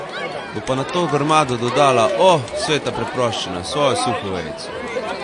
Bo pa na to grmado dodala, o, sveta preproščina, svojo suho vejico.